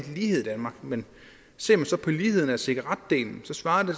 lighed i danmark men ser man så på ligheden i cigaretdelen så svarer